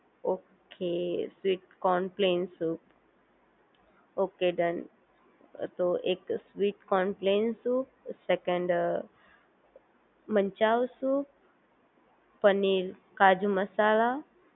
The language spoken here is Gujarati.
okay sweet corn plain soup okay done તો એક sweet corn plain soup second manchow soup paneer kaju મસાલા